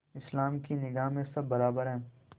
इस्लाम की निगाह में सब बराबर हैं